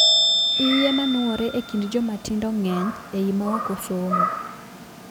Iye manuore e kind jomatindo ng'eny ei maoko somo.